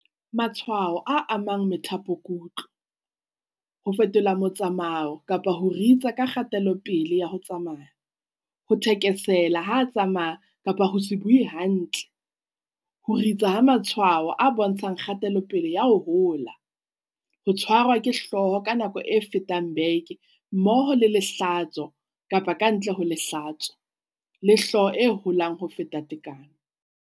Matshwao a amang methapokutlo, ho fetola motsamao kapa ho ritsa ha kgatelopele ya ho tsamaya, ho thekesela ha a tsamaya kapa ho se bue hantle, ho ritsa ha matshwao a bontshang kgatelopele ya ho hola, ho tshwarwa ke hlooho ka nako e fetang beke mmoho le lehlatso kapa ka ntle ho lehlatso, le hlooho e holang ho feta tekano.